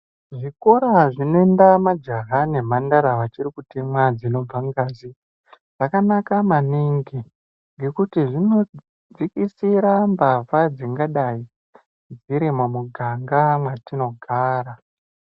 Zvikora zvinoenda majaha nemhandara vachiri kutemwa dzinobva ngazi zvakanaka maningi ngekuti zvinodzikisira mbavha dzingadai dziri mumuganga mwatinogara.